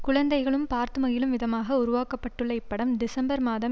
குழந்தைகளும் பார்த்து மகிழும் விதமாக உருவாக்கப்பட்டுள்ள இப்படம் டிசம்பர் மாதம்